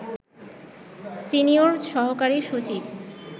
senior সহকারী সচিব